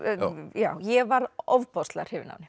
já ég var ofboðslega hrifin af